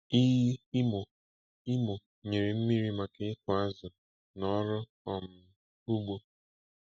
Iyi Imo Imo nyere mmiri maka ịkụ azụ na ọrụ um ugbo.